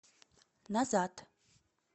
назад